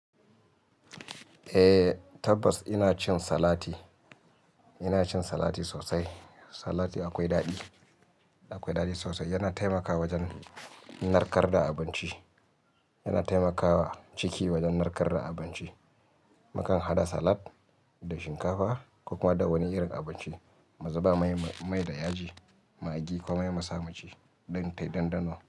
Eh tabbas ina cin salati, ina cin salati sosai. Salati akwai daɗi, akwai daɗi sosai. Yana taimakawa wajen narkar da abinci, yana taimakawa ciki wajen narkar da abinci. Mukan hada salat da shinkafa ko kuma da wani irin abinci, mazuba mai da yaji, magi komai mu sa muci dan tayi ɗanɗano.